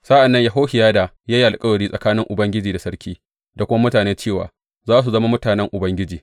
Sa’an nan Yehohiyada ya yi alkawari tsakanin Ubangiji da sarki da kuma mutane cewa za su zama mutanen Ubangiji.